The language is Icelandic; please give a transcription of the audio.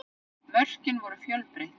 Mörkin voru fjölbreytt